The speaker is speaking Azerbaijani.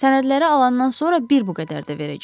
Sənədləri alandan sonra bir bu qədər də verəcək.